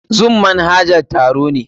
Zoom manhajan taro ne.